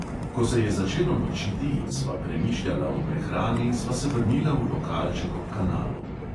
Ko se je začelo nočiti in sva premišljala o prehrani, sva se vrnila v lokalček ob kanalu.